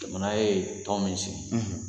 Jamana ye tɔn min sigi.